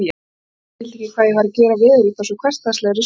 Erik skildi ekki að ég væri að gera veður útaf svo hversdagslegri sjón.